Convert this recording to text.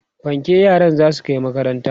fanke yaran zasu Kai makaranta